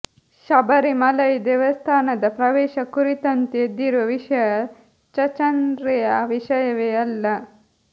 ಶಬರಿಮಲೈ ದೇವಸ್ಥಾನದ ಪ್ರವೇಶ ಕುರಿತಂತೆ ಎದ್ದಿರುವ ವಿಷಯ ಚಚರ್ೆಯ ವಿಷಯವೇ ಅಲ್ಲ